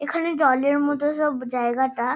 এখানে জলের মধ্যে সব জায়গাটা।